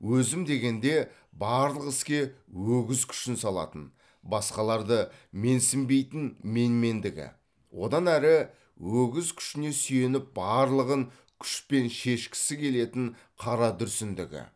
өзім дегенде барлық іске өгіз күшін салатын басқаларды менсінбейтін менмендігі одан ары өгіз күшіне сүйеніп барлығын күшпен шешкісі келетін қара дүрсіндігі